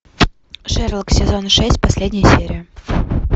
шерлок сезон шесть последняя серия